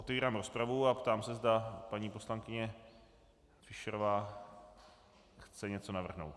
Otevírám rozpravu a ptám se, zda paní poslankyně Fischerová chce něco navrhnout.